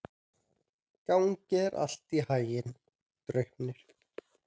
Gangi þér allt í haginn, Draupnir.